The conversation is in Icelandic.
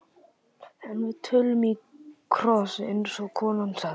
En við tölum í kross, eins og konan sagði.